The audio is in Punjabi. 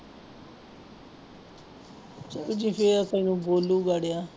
ਫਿਰ ਤੈਨੂੰ ਬੋਲੂਗਾ ਅੜਿਆ।